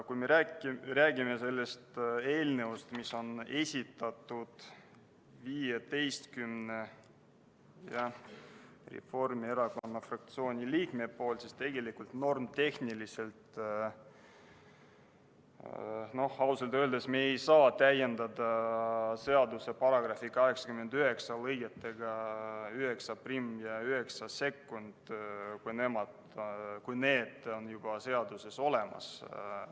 Kui me räägime sellest eelnõust, mille on esitanud 15 Reformierakonna fraktsiooni liiget, siis normitehniliselt me ausalt öeldes ei saa täiendada seaduse § 89 lõigetega 91 ja 92, kuna need on seaduses juba olemas.